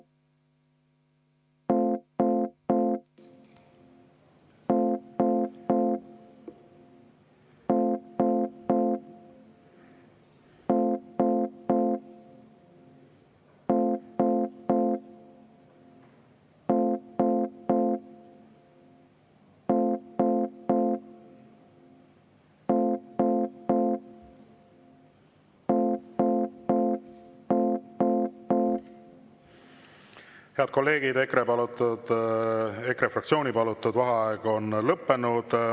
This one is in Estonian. Head kolleegid, EKRE fraktsiooni palutud vaheaeg on lõppenud.